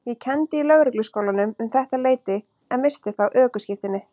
Ég kenndi í Lögregluskólanum um þetta leyti en missti þá ökuskírteinið.